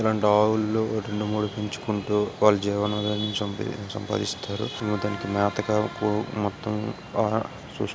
ఇలాంటి ఆవులను రెండూ మూడు పెంచుకుంటూ వాళ్ళ జీవన ఆదాయం సంపాదిస్తారు. తనకి మేత కాని అంతా ఆహారం--